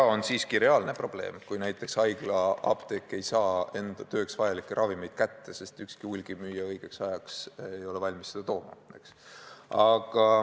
See on siiski reaalne probleem, kui haiglaapteek ei saa oma tööks vajalikke ravimeid kätte, sest ükski hulgimüüja ei ole valmis seda õigeks ajaks kohale tooma.